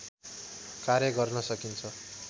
कार्य गर्न सकिन्छ